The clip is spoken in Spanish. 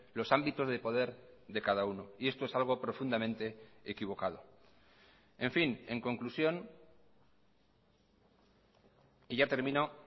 los ámbitos de poder de cada uno y esto es algo profundamente equivocado en fin en conclusión y ya termino